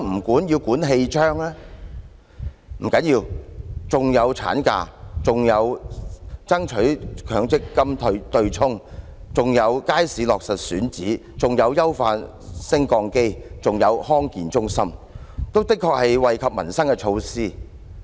不要緊，當中還有產假、爭取強積金對沖、街市落實選址、優化升降機、康健中心等，確實是惠及民生的措施。